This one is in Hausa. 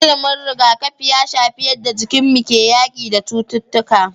Ilimin riga kafi ya shafi yadda jikinmu ke yaki da cututtuƙa